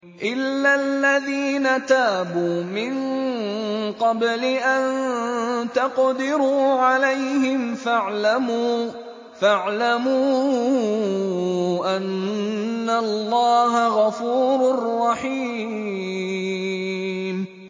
إِلَّا الَّذِينَ تَابُوا مِن قَبْلِ أَن تَقْدِرُوا عَلَيْهِمْ ۖ فَاعْلَمُوا أَنَّ اللَّهَ غَفُورٌ رَّحِيمٌ